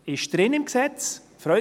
» Das ist im Gesetz drin.